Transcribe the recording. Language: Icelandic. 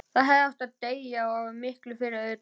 Þá hefði ég átt að deyja, og miklu fyrr auðvitað.